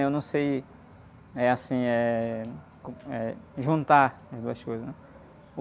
Eu não sei, eh, assim, eh, co... Eh, juntar as duas coisas, né?